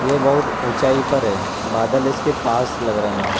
ये बहुत ऊंचाई पर है बादल इसके पास लग रहे हैं।